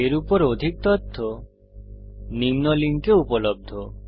এর উপর অধিক তথ্য নিম্ন লিঙ্কে উপলব্ধ